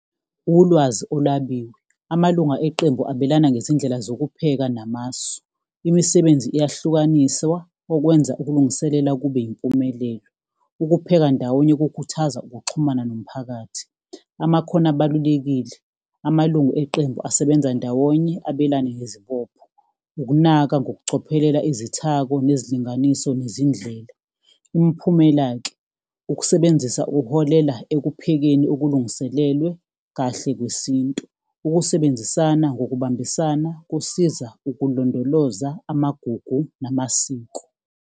Ulwazi olwabiwe, amalunga eqembu abelana ngezindlela zokupheka namasu. Imisebenzi iyahlukaniswa okwenza ukulungiselela kube yimpumelelo. Ukupheka ndawonye kukhuthaza ukuxhumana nomphakathi. Amakhono abalulekile, amalungu eqembu asebenza ndawonye, abelane ngezibopho, ukunaka ngokucophelela izithako nezilinganiso nezindlela. Imiphumela-ke, ukusebenzisa kuholela ekuphekeni okulungiselelwe kahle kwesintu. Ukusebenzisana ngokubambisana kusiza ukulondoloza amagugu namasiko.